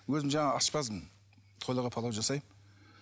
өзім жаңағы аспазбын тойларға палау жасаймын